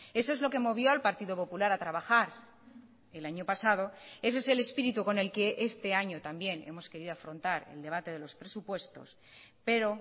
eso es lo que movió al partido popular a trabajar el año pasado ese es el espíritu con el que este año también hemos querido afrontar el debate de los presupuestos pero